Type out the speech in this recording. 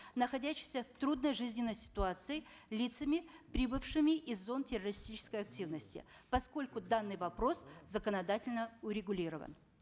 находящихся в трудной жизненной ситуации лицами прибывшими из зон террористической активности поскольку данный вопрос законодательно урегулирован